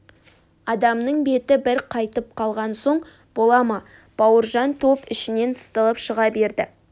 адамның беті бір қайтып қалған соң бола ма бауыржан топ ішінен сытылып шыға берді